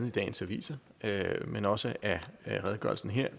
i dagens aviser men også af redegørelsen her